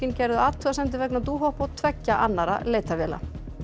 gerðu athugasemdir vegna Dohop og tveggja annarra leitarvéla